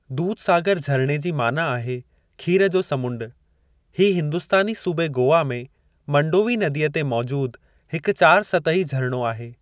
दुधसागर झरिणे जी माना आहे 'खीर जो समुंडु' हीउ हिंदुस्तानी सूबे गोवा में मंडोवी नदीअ ते मौजूदु हिकु चारि-सतही झरिणो आहे।